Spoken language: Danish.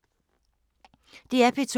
DR P2